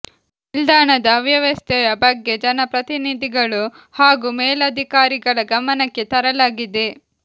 ನಿಲ್ದಾಣದ ಅವವ್ಯಸ್ಥೆಯ ಬಗ್ಗೆ ಜನ ಪ್ರತಿನಿಧಿಗಳು ಹಾಗೂ ಮೇಲಧಿಕಾರಿಗಳ ಗಮನಕ್ಕೆ ತರಲಾಗಿದೆ